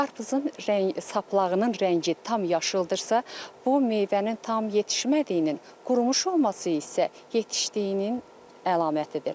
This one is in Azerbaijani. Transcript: Qarpızın saplağının rəngi tam yaşıldırsa, bu meyvənin tam yetişmədiyinin, qurumuş olması isə yetişdiyinin əlamətidir.